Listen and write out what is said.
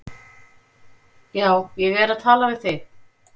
Já, ég er að tala við þig!